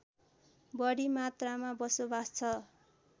बढी मात्रामा बसोवास छ